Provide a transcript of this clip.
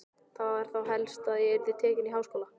Það var þá helst að ég yrði tekin í háskóla!